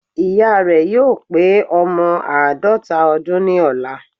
Ìya rè yóò pé ọmọ àádọ́ta ọdún ní ọ̀la